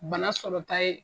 Bana sɔrɔta ye